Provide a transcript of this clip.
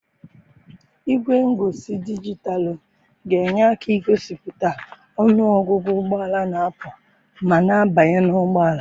Igwe ngosi dijitalụ ga-enye aka igosipụta ọnụ ọgụgụ ụgbọ ala na-apụ ma na-abanye n'ụgbọala.